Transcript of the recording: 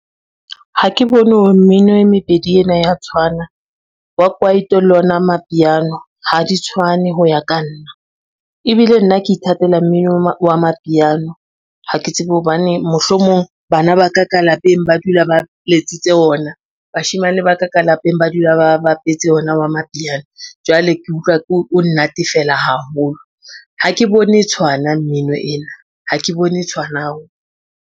Ha ke bone hore mmino e mebedi ena ya tshwana wa kwaito, le ona mapiano ha di tshwane ho ya ka nna. Ebile nna ke ithatela mmino wa mapiano ha ke tsebe hobaneng, mohlomong bana ba ka ka lapeng ba dula ba letsitse ona, bashemane ba ka ka lapeng ba dula ba bapetse ona wa mapiano. Jwale ke utlwa o nnatefela haholo ha ke bone tshwana mmino ena, ha ke bone tshwana.